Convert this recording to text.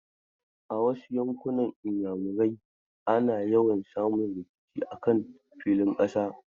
A wasu yankunan Iyamurai ana yawa samun rikici a kan filin ƙasa.